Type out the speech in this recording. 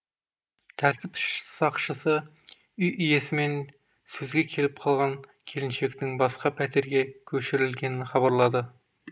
тәртіп сақшысы үй иесімен сөзге келіп қалған келіншектің басқа пәтерге көшірілгенін хабарлады